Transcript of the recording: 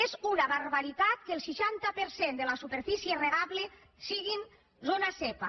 és una barbaritat que el seixanta per cent de la superfície regable sigui zona zepa